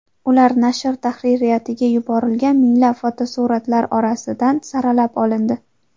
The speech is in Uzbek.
Ular nashr tahririyatiga yuborilgan minglab fotosuratlar orasidan saralab olindi.